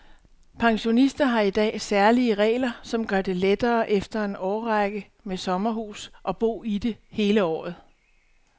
Pensionister har i dag særlige regler, som gør det lettere efter en årrække med sommerhus at bo i det hele året.